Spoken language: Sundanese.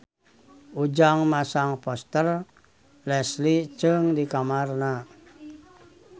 Ujang masang poster Leslie Cheung di kamarna